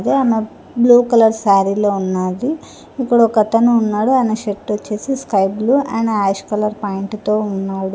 ఆమె blue colour sari లో ఉన్నాది ఇక్కడ ఒకతను ఉన్నాడు అయన షార్ట్ వొచ్చేసి sky blue and ash colour pant తో ఉన్నాడు.